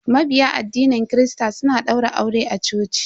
Mabiya addinin christa suna daura aure a coci.